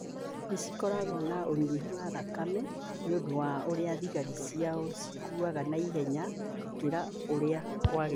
nĩ cikoragwo na ũnyihu wa thakame nĩ ũndũ wa ũrĩa thigari ciao cikuaga na ihenya gũkĩra ũrĩa kwagĩrĩire.